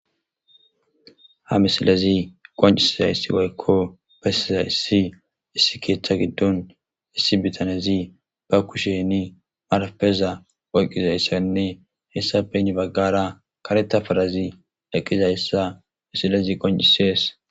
Ha misilezi qoncisiza issi waykko besiza issi issi keetha giddon issi bitanezi ba kusheni marapeza oyqqizayssanne hessafe nibaggara kareta farazi laqqizayssa misilezi qoncisees.